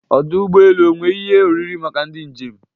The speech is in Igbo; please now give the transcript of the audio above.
Ọdụ ụgbọ elu e nwere ihe oriri maka ndị njem?